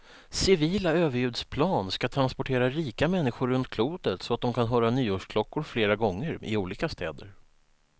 Civila överljudsplan ska transportera rika människor runt klotet så de kan höra nyårsklockor flera gånger, i olika städer.